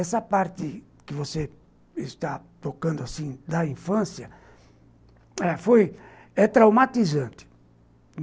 Essa parte que você está tocando assim da infância, é traumatizante.